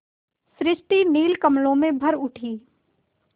सृष्टि नील कमलों में भर उठी